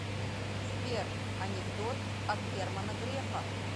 сбер анекдот от германа грефа